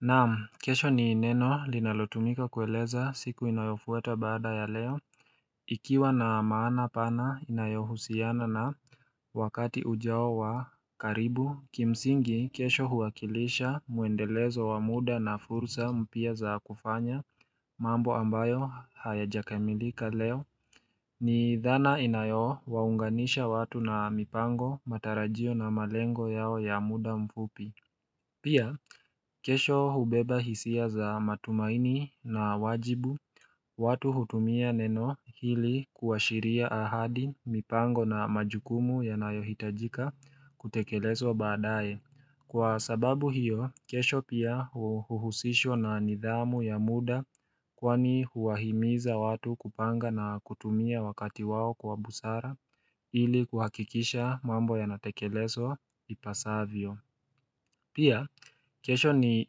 Naam kesho ni neno linalotumika kueleza siku inayofuata baada ya leo Ikiwa na maana pana inayohusiana na wakati ujao wa karibu Kimsingi kesho huwakilisha mwendelezo wa muda na fursa mpya za kufanya mambo ambayo hayajakamilika leo ni dhana inayowaunganisha watu na mipango matarajio na malengo yao ya muda mfupi Pia kesho hubeba hisia za matumaini na wajibu watu hutumia neno hili kuashiria ahadi mipango na majukumu yanayohitajika kutekelezwa baadae. Kwa sababu hiyo, kesho pia uhuhusishwa na nidhamu ya muda kwani huwahimiza watu kupanga na kutumia wakati wao kwa busara ili kuhakikisha mambo yanatekelezwa ipasavyo. Pia, kesho ni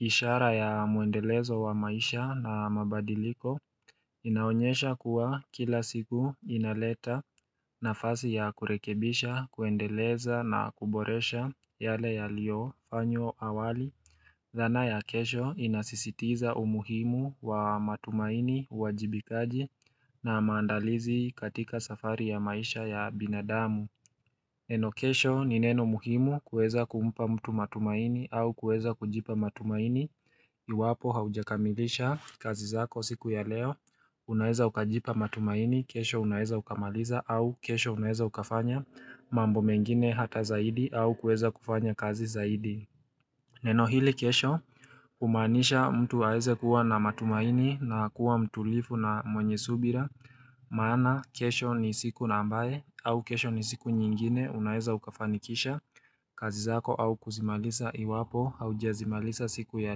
ishara ya muendelezo wa maisha na mabadiliko, inaonyesha kuwa kila siku inaleta nafasi ya kurekebisha, kuendeleza na kuboresha yale yaliofanywa awali Zana ya kesho inasisitiza umuhimu wa matumaini uajibikaji na maandalizi katika safari ya maisha ya binadamu Neno kesho ni neno muhimu kueza kumpa mtu matumaini au kueza kujipa matumaini Iwapo haujakamilisha kazi zako siku ya leo Unaeza ukajipa matumaini, kesho unaeza ukamaliza au kesho unaeza ukafanya mambo mengine hata zaidi au kueza kufanya kazi zaidi Neno hili kesho humaanisha mtu aeze kuwa na matumaini na kuwa mtulivu na mwenye subira Maana kesho ni siku ambaye au kesho ni siku nyingine unaeza ukafanikisha kazi zako au kuzimaliza iwapo haujazimaliza siku ya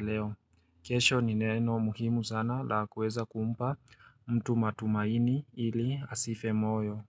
leo kesho ni neno muhimu sana la kueza kumpa mtu matumaini ili asife moyo.